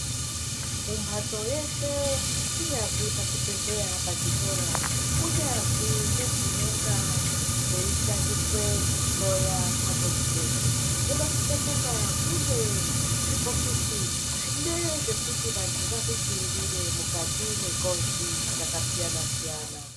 Mumhatso yeshe kunyazi pachibhedhleya pachikora kunyazwi ngedzinonga dzeishandiswe kuhloya mhatso dzinoidzi. Munosise kunga mune zvibhokisi zvine zvekuti vantu vazvidzirire mukati mwengozi dzakasiyana-siyana.